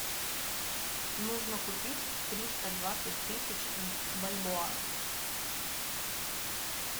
нужно купить триста двадцать тысяч бальбоа